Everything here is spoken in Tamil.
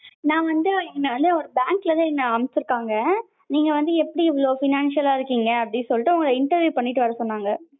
நா வந்து இந்த ஒரு bank ல இருந்து என்ன அனுப்பிச்சிருக்காங்க. நீங்க வந்து எப்படி இவ்ளோ financial லா இருக்கீங்க அப்படி சொல்லிட்டு உங்கள interview பண்ணிட்டு வர சொன்னாங்க.